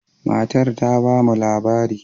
Matar ta ba mu labari.